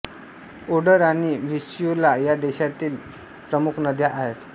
Oder आणि Vistula या देशातील प्रमुख नद्या आहेत